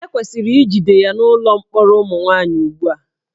E kwesịrị ijide ya n'ụlọ mkpọrọ ụmụ nwaanyị ugbu a